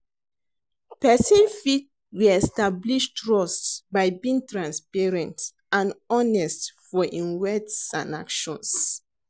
Pesin fit re-establish trust by being transparent and honest for im words and actons.